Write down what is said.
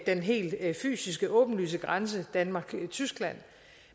den helt fysiske åbenlyse grænse danmark og tyskland